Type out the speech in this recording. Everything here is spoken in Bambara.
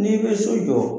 N'i bɛ so jɔ